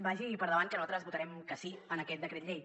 vagi per endavant que nosaltres votarem que sí a aquest decret llei